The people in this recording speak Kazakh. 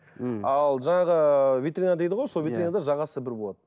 ал жаңағы ыыы витрина дейді ғой витринада жағасы бір болады